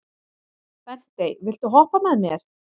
Bentey, viltu hoppa með mér?